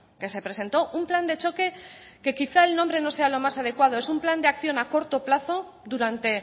que se presentó un plan de choque que quizá el nombre no sea lo más adecuado es un plan de acción a corto plazo durante